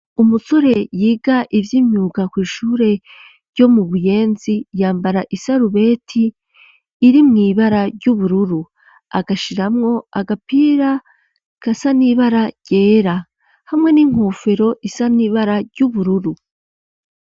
Umusore yiga ivy'imyuga kw'ishure ryo mu Buyenzi yambara isarubeti iri mw'ibara ry'ubururu agashiramwo agapira gasa nibara ryera, hamwe n'inkofero isa nibara ry'ubururu.